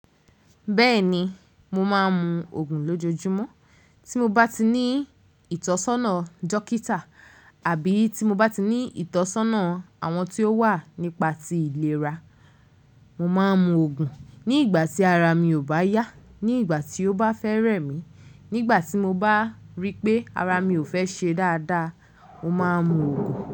Bẹ́ẹ̀ni, mo máa ń mun ògùn lójojúmọ́ tí mo bá ti ní ìtọ́sọ́nà dókítà àbí tí mo bá ti ní ìtọ́sọ́nà àwọn tí ó wà nípa ti ìlera, mo máa ń mu ògùn. Ní ìgbà tí ara mi ò bá yá, ní ìgbà tí ó bá fẹ́ẹ́ rẹ̀ mí, nígbà tí mo bá rí pé ara mi ò fẹ́ ṣe dáadáa, mo máa ń mu ògùn.